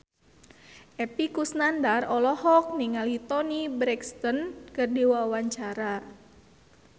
Epy Kusnandar olohok ningali Toni Brexton keur diwawancara